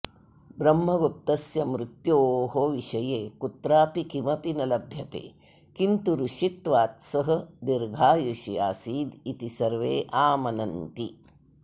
ब्रह्मगुप्तस्य मृत्योः विषये कुत्रापि किमपि न लभ्यते किन्तु ऋषित्वात् सः दीर्घायुषी आसीदिति सर्वे आमनन्ति